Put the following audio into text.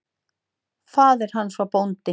Faðir hans var bóndi.